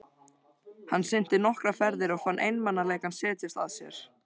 Hann synti nokkrar ferðir og fann einmanaleikann setjast að sér.